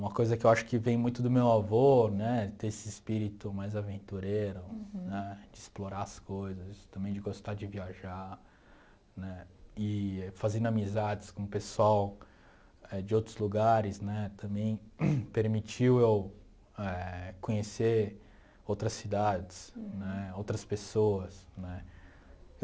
Uma coisa que eu acho que vem muito do meu avô, né, ter esse espírito mais aventureiro, né, de explorar as coisas, também de gostar de viajar, né, e fazendo amizades com o pessoal de outros lugares, né, também permitiu eu eh conhecer outras cidades, né, outras pessoas, né.